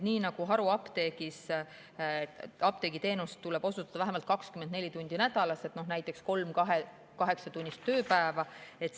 Haruapteegis tuleb apteegiteenust osutada vähemalt 24 tundi nädalas, näiteks kolm kaheksatunnist tööpäeva.